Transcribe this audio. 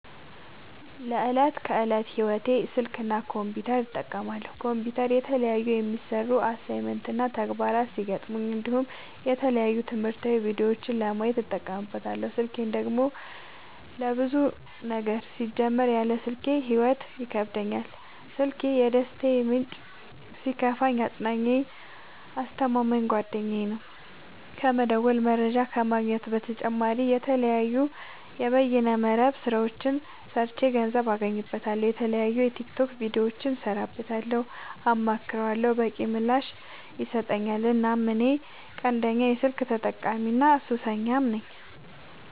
ለዕት ከዕለት ህይወቴ ስልክ እና ኮምፒውተር እጠቀማለሁ። ኮምፒውተር የተለያዩ የሚሰሩ አሳይመንት እና ተግባራት ሲገጥሙኝ እንዲሁም የተለያዩ ትምህርታዊ ቪዲዮዎችን ለማየት እጠቀምበታለው። ስልኬን ደግሞ ለብዙ ነገር ሲጀመር ያለ ስልኬ ህይወት ይከብደኛል። ስልኪ የደስታዬ ምንጭ ሲከፋኝ አፅናኜ አስተማማኝ ጓደኛዬ ነው። ከመደወል መረጃ ከመግኘት በተጨማሪ የተለያዩ የበይነ መረብ ስራዎችን ሰርቼ ገንዘብ አገኝበታለሁ። የተለያዩ የቲክቶክ ቪዲዮዎችን እሰራበታለሁ አማክረዋለሁ። በቂ ምላሽ ይሰጠኛል እናም እኔ ቀንደኛ የስልክ ተጠቀሚና ሱሰኛም ነኝ።